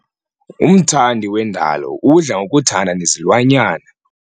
Umthandi wendalo udla ngokuthanda nezilwanyana.